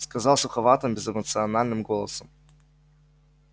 сказал суховатым безэмоциональным голосом